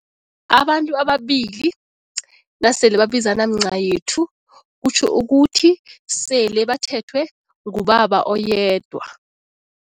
Abantu ababili nasele babizana mncayethu kutjho ukuthi sele bathethwe ngubaba oyedwa.